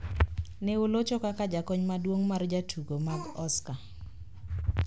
Ne olocho kaka jakony maduong` mar jatugo mag Oscar